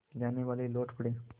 जानेवाले लौट पड़े